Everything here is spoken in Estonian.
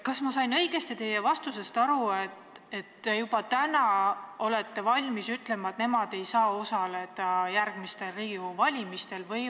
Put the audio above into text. Kas ma sain teie vastusest õigesti aru, et te olete juba täna valmis ütlema, et nad ei saa järgmistel Riigikogu valimistel osaleda?